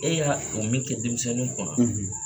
E y'a fɔ min kɛ denmisɛnninw kun na